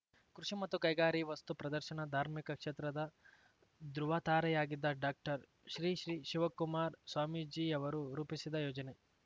ಕೃಷಿ ಮತ್ತು ಕೈಗಾರಿ ವಸ್ತು ಪ್ರದರ್ಶನ ಧಾರ್ಮಿಕ ಕ್ಷೇತ್ರದ ದೃವತಾರೆಯಾಗಿದ್ದ ಡಾಕ್ಟರ್ ಶ್ರೀ ಶ್ರೀ ಶಿವಕುಮಾರ ಸ್ವಾಮೀಜಿಯವರು ರೂಪಿಸಿದ ಯೋಜನೆ